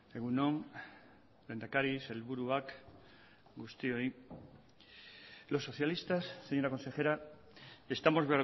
egun on lehendakari sailburuak guztioi los socialistas señora consejera estamos